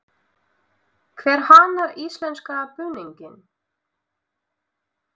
Hver hannar íslenska búninginn?